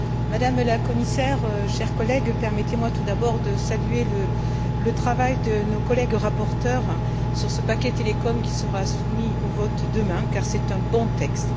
Madame la Commissaire, chers collègues, permettez moi tout d'abord de saluer le travail de nos collègues rapporteurs sur ce paquet télécom qui sera soumis au vote demain, car c'est un bon texte.